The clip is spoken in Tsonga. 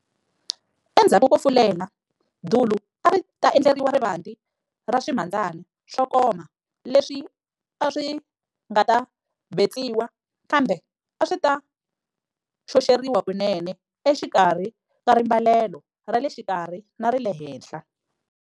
Endzhaku ko fulela, dulu a ri ta endleriwa rivanti ra swimhandzani swo koma leswi a swi nga ta betsiwa kambe a swi ta xoxeriwa kunene exikarhi ka rimbalelo ra le xikarhi na ra le henhla.